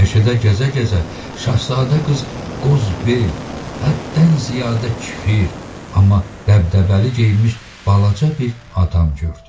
Meşədə gəzə-gəzə Şahzadə qız qozbel, həddən ziyadə kfir, amma dəbdəbəli geyinmiş balaca bir adam gördü.